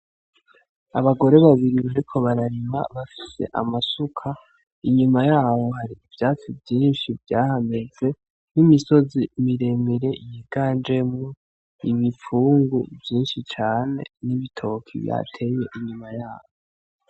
Abagore babiri bariko bararima bafise amasuka. Inyuma yaho hari ivyatsi vyinshi vyahameze n'imisozi miremire yiganjemwo Ibipfungu vyinshi cane n'bitoki bateye inyuma yavyo.